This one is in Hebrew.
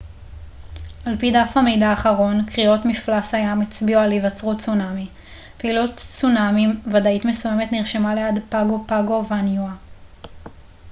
על פי דף המידע האחרון קריאות מפלס הים הצביעו על היווצרות צונמי פעילות צונמי ודאית מסוימת נרשמה ליד פאגו פאגו וניואה